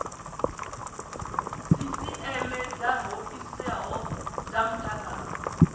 sisieme dza hoisiso dza mutakalo